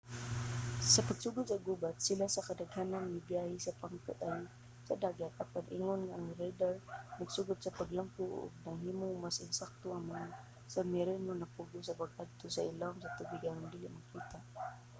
sa pagsugod sa gubat sila sa kadaghanan mibiyahe sa pungkay sa dagat apan ingon nga ang radar nagsugod sa paglambo ug nahimong mas ensakto ang mga submarino napugos sa pag-adto sa ilawom sa tubig aron dili makita